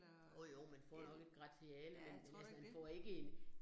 Jo jo, man får nok et gratiale, men men altså, man får ikke en